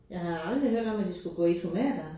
Jeg har da aldrig hørt om at de skulle gå i tomatere